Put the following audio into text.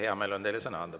Hea meel on teile sõna anda.